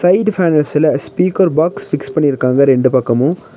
Side கார்னர்ஸ்ல speaker box fix பண்ணிருக்காங்க ரெண்டு பக்கமு.